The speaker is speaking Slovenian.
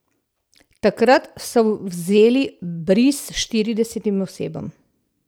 Takrat so vzeli bris štiridesetim osebam.